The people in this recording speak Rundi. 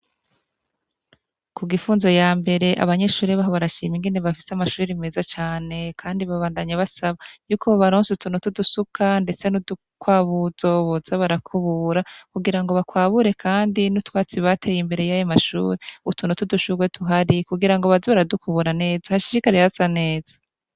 Ku Gifunzo ya mbere, abanyeshuri baho barashima ingene bafise amashure meza cane kandi babandanya basaba yuko bobaronsa utuntu tw'udusuka, ndetse be n'udukwabuzo boze barakubura kugira bakwabure kwandi n'utwatsi bateye imbere y'ayo mashure, utuntu tw'udushurwe tuhari kugira baze baradukubura neza, hashishikare hasa neza.